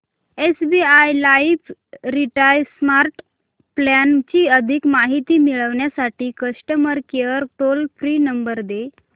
SBI life retire smart plan ची अधिक माहिती मिळविण्यासाठी customer care toll free number दे